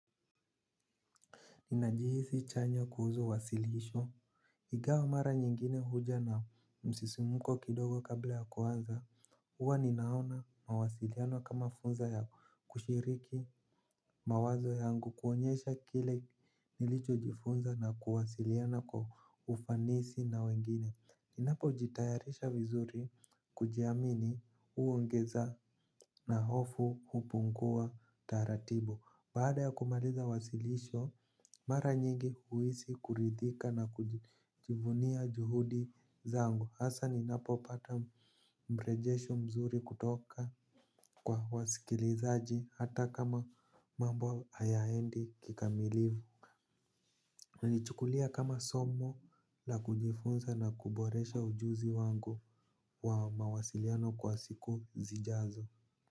Ninajihisi chanya kuhusu uwasilisho. Ingawa mara nyingine huja na msisimko kidogo kabla ya kuanza. Huwa ninaona mawasiliano kama funzo ya kushiriki mawazo yangu kuonyesha kile nilichojifunza na kuwasiliana kwa ufanisi na wengine. Ninapo jitayarisha vizuri kujiamini huongeza na hofu hupungua taratibu. Baada ya kumaliza wasilisho, mara nyingi huhisi kuridhika na kujivunia juhudi zangu. Hasa ninapopata mrejesho mzuri kutoka kwa wasikilizaji hata kama mambo hayaendi kikamilivu. Na naichukulia kama somo la kujifunza na kuboresha ujuzi wangu wa mawasiliano kwa siku zijazo.